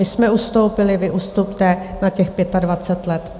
My jsme ustoupili, vy ustupte na těch 25 let.